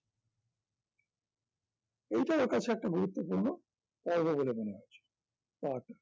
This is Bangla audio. এইটার পাশে একটা গুরুত্বপূর্ন পর্ব বলে মনে হয়েছে তার